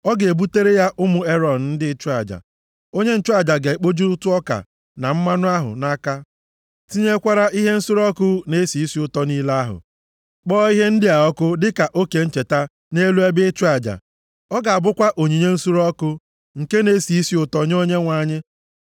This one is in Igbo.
ọ ga-ebutere ya ụmụ Erọn ndị nchụaja. Onye nchụaja ga-ekpoju ụtụ ọka na mmanụ ahụ nʼaka, tinyekwara ihe nsure ọkụ na-esi isi ụtọ niile ahụ, kpọọ ihe ndị a ọkụ dịka oke ncheta + 2:2 Nke nọchiri anya ụtụ ọka ahụ niile nʼelu ebe ịchụ aja. Ọ ga-abụkwa onyinye nsure ọkụ, nke na-esi isi ụtọ nye Onyenwe anyị.